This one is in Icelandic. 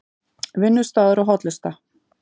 Vinnustaður og hollusta